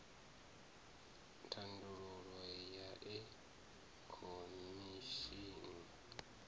thandululo ya e khomese i